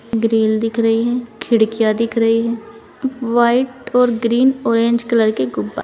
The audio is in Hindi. ग्रिल दिख रही है खिड़कियाँ दिख रही है वाइट और ग्रीन ऑरेंज कलर के गुब्बा--